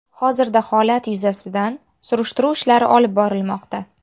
Hozirda holat yuzasidan surishtiruv ishlari olib borilmoqda.